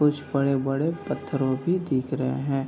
कुछ बड़े-बड़े पत्थरों भी दिख रहे हैं |